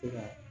Se ka